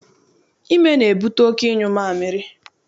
Ime na-ebute oké ịnyụ amịrị.